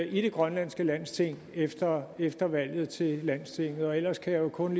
i det grønlandske landsting efter efter valget til landstinget ellers kan jeg jo kun